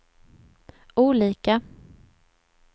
olika